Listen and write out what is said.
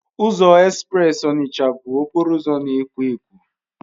Ụzọ espreesi Onitsha bụ okporo ụzọ na-ekwo ekwo.